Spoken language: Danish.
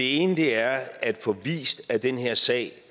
ene er at få vist at den her sag